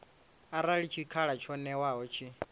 arali tshikhala tsho ṅewaho tshi